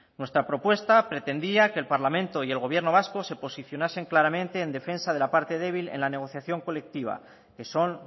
nuestra propuesta pretendía que el parlamento y el gobierno vasco se posicionasen claramente en defensa de la parte débil en la negociación colectiva que son